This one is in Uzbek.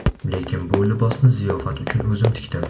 Lekin bu libosni ziyofat uchun o‘zim tikdim”.